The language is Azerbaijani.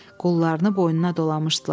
Qollarını boynuna dolamışdılar.